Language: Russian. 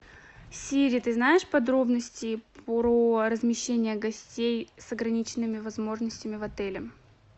сири ты знаешь подробности про размещение гостей с ограниченными возможностями в отеле